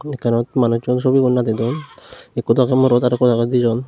ekkanot manucchun subigun nadi don ekko dojo morot arokko dijon.